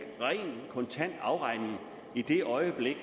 kontant afregning i det øjeblik